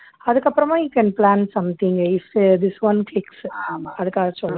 அதுக்கு அப்புறமா you can plan something is உ this one fix அதுக்காக சொல்ல